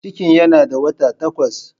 Cikin yana da wata takwas.